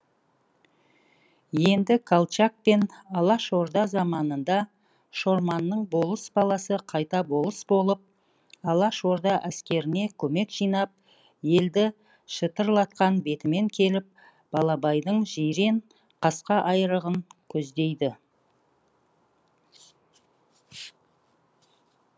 енді колчак пен алашорда заманында шорманның болыс баласы қайта болыс болып алашорда әскеріне көмек жинап елді шытырлатқан бетімен келіп балабайдың жирен қасқа айрығын көздейді